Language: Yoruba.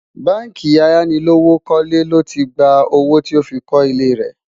bánkì ayánilówókọ́lé ló tí gbà owó tí ọ fí kò ilé rè